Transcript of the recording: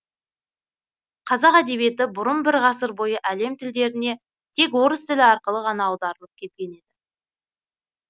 қазақ әдебиеті бұрын бір ғасыр бойы әлем тілдеріне тек орыс тілі арқылы ғана аударылып келген еді